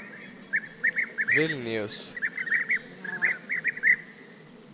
Vilnius